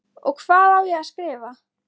Og hvað á ég að skrifa?